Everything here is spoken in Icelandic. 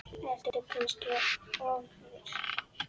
Ertu kannski ofvirk?